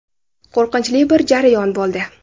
Qo‘rqinchli bir jarayon bo‘ldi.